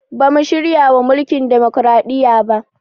Bamu shiryawa mulkin demokaraɗiya ba